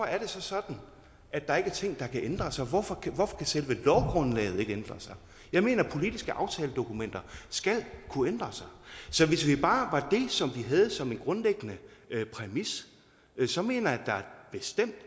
er det så sådan at der ikke er ting der kan ændre sig og hvorfor kan selve lovgrundlaget ikke ændre sig jeg mener at politiske aftaledokumenter skal kunne ændre sig så hvis det bare var det som vi havde som en grundlæggende præmis så mener jeg bestemt